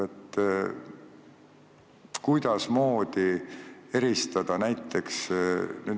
Kuidasmoodi eristada?